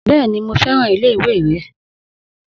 Bẹ́ẹ̀ni, mo fẹ́ràn ilé ìwé rẹ.